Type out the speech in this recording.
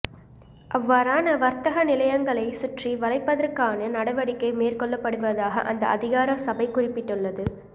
அவ்வாறான வர்த்தக நிலையங்களை சுற்றி வளைப்பதற்கான நடவடிக்கை மேற்கொள்ளப்படுவதாக அந்த அதிகார சபை குறிப்பிட்டுள்ளது